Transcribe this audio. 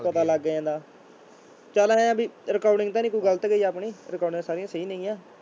ਪਤਾ ਲੱਗ ਜਾਂਦਾ, ਚੱਲ ਇਉਂ ਆਂ ਵੀ recording ਤਾਂ ਨੀ ਕੋਈ ਗ਼ਲਤ ਗਈ ਆਪਣੀ ਰਿਕਾਰਡਿਗਾਂ ਸਾਰੀਆਂ ਸਹੀ ਨੇ ਗੀਆਂ।